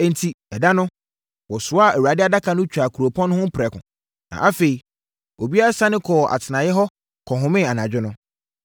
Enti, ɛda no, wɔsoaa Awurade Adaka no twaa kuropɔn no ho prɛko. Na afei obiara sane kɔɔ atenaeɛ hɔ kɔhomee anadwo no.